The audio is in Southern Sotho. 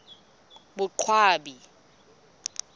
boqwabi